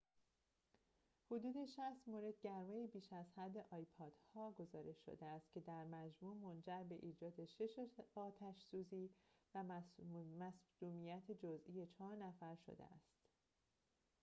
حدود ۶۰ مورد گرمای بیش از حد آیپاد‌ها گزارش شده است که در مجموع منجر به ایجاد شش آتش سوزی و مصدومیت جزئی چهار نفر شده است